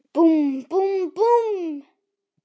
Búmm, búmm, búmm.